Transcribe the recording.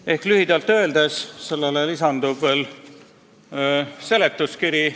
Sellele lühikesele eelnõule lisandub veel seletuskiri.